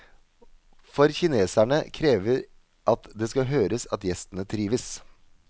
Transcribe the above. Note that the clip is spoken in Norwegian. For kineserne krever at det skal høres at gjestene trives.